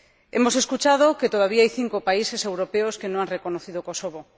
Hemos escuchado que todavía hay cinco países europeos que no han reconocido a Kosovo.